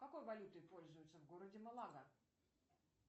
какой валютой пользуются в городе малага